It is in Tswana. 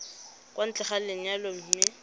kwa ntle ga lenyalo mme